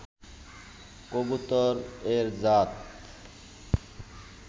কবুতর এর জাত